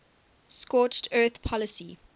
scorched earth policy